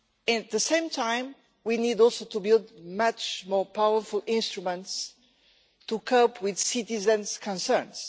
At the same time, we also need to build much more powerful instruments to cope with citizens' concerns.